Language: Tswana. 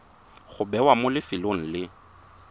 go bewa mo lefelong le